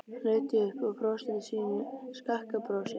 Hún leit upp og brosti sínu skakka brosi.